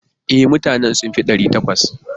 E, mutanen sun fi ɗari takwas.